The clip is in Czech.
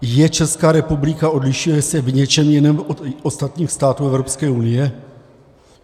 Je Česká republika, odlišuje se v něčem jiném od ostatních států Evropské unie?